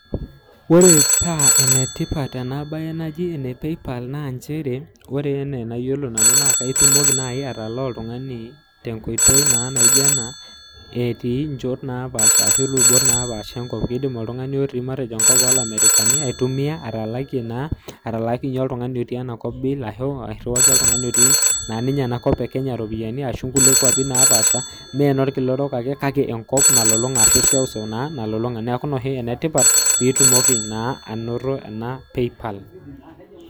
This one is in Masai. Wore paa enetipat ena baye naji ene PayPal naa nchere. Wore enaa enayiolo nanu naa keitumoki naaji atalaa oltungani tenkoitoi naa naijo enaa etii inchot naapaasha arashu ilubot naapaasha enkop. Kiidim oltungani otii matejo enkop oomarekani aitumia atalakie naa atalaakinyie oltungani otii enakop bill ,ashu airriwaki oltungani otii naa ninye enakop ekenya iropiyani ashu inkulie kwapi napaasha mee inolkila orok ake kake enkop nalulunga nalulunga ashu eseuseu naa nalulunga. Neeku inia oshi enetipat pee itumoki naa ainoto ena PayPal.